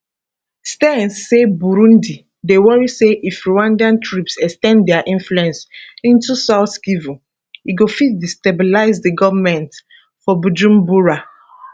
stearns say burundi dey worry say if rwandan troops ex ten d dia influence into south kivu e go fit destabilize di goment for bujumbura